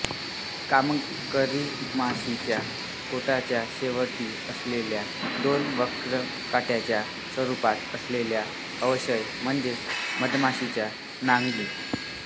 कामकरी माशीच्या पोटाच्या शेवटी असलेल्या दोन वक्र काट्यांच्या स्वरूपात असलेला अवयव म्हणजे मधमाशीची नांगी